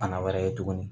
Fana wɛrɛ ye tuguni